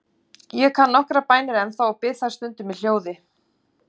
Ég kann nokkrar bænir ennþá og bið þær stundum í hljóði.